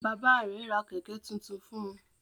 Bàbá rẹ̀ ra Kẹ̀kẹ́ tuntun fun